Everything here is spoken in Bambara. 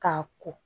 K'a ko